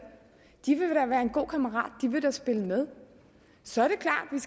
de vil da være en god kammerat de vil da spille med så er